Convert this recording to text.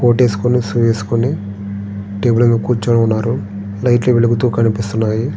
Coat వేసుకొని shoe వేసుకొని table మీద కూర్చొనిఉన్నాడు లైట్లు వెలుగుతు కనిపిస్తున్నాయి.